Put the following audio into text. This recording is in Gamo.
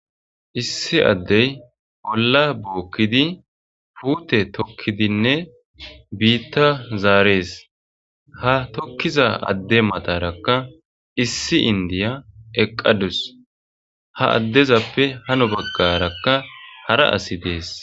Issi addey olla bookkidi puute tokkidinne biitta zaarees. Ha tokkiza adde matarakka issi indiya eqqadus. ha addezappe hano baggarakka hara asi dees.